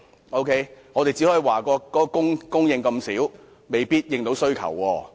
我們只能批評供應量少，未必足以應付需求。